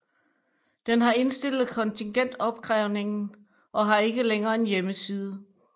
Den har indstillet kontingentopkrævningen og har ikke længere en hjemmeside